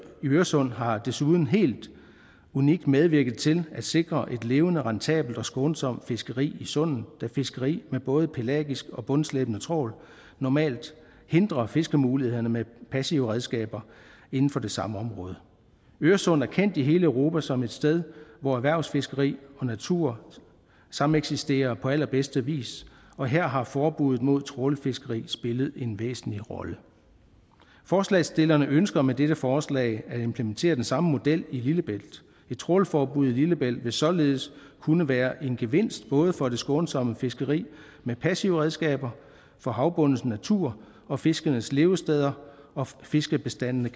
øresund har desuden helt unikt medvirket til at sikre et levende rentabelt og skånsomt fiskeri i sundet da fiskeri med både pelagisk og bundslæbende trawl normalt hindrer fiskemulighederne med passive redskaber inden for det samme område øresund er kendt i hele europa som et sted hvor erhvervsfiskeri og natur sameksisterer på allerbedste vis og her har forbuddet mod trawlfiskeri spillet en væsentlig rolle forslagsstillerne ønsker med dette forslag at implementere den samme model i lillebælt et trawlforbud i lillebælt vil således kunne være en gevinst både for det skånsomme fiskeri med passive redskaber for havbundens natur og fiskenes levesteder og fiskebestandene